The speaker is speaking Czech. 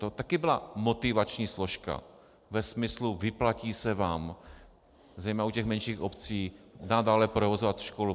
To také byla motivační složka ve smyslu: vyplatí se vám, zejména u těch menších obcí, nadále provozovat školu.